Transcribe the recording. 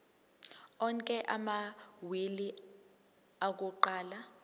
onke amawili akuqala